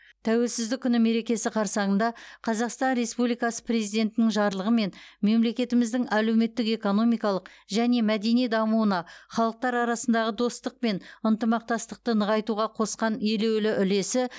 тәуелсіздік күні мерекесі қарсаңында қазақстан республикасы президентінің жарлығымен мемлекетіміздің әлеуметтік экономикалық және мәдени дамуына халықтар арасындағы достық пен ынтымақтастықты нығайтуға қосқан елеулі үлесі